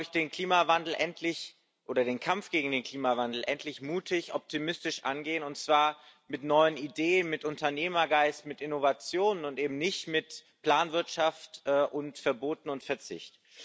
Wir müssen den Kampf gegen den Klimawandel endlich mutig, optimistisch angehen, und zwar mit neuen Ideen, mit Unternehmergeist, mit Innovationen und eben nicht mit Planwirtschaft, Verboten und Verzicht.